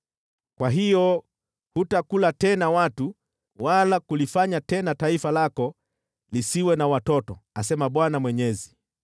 kwa hiyo hutakula tena watu wala kulifanya tena taifa lako lisiwe na watoto, asema Bwana Mwenyezi.